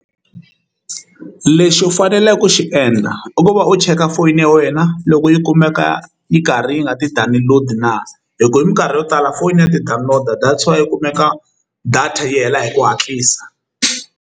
Lexi u faneleke ku xi endla i ku va u cheka foyini ya wena loko yi kumeka yi karhi yi nga ti-download na hi ku hi minkarhi yo tala fonini ya ti-download data yi kumeka data yi hela hi ku hatlisa.